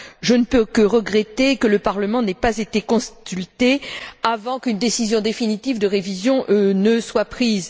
Je ne peux que regretter que le Parlement n'ait pas été consulté avant qu'une décision définitive de révision ne soit prise.